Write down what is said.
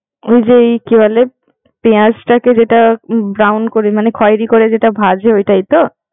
ওই যে এই কি বলে, পেয়াঁজটাকে যেটা ব্রাউন করে মানে খয়েরি করে যেটা ভাজে ঐটাই তো।